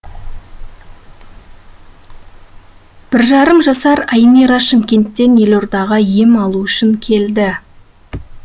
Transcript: бір жарым жасар аймира шымкенттен елордаға ем алу үшін келді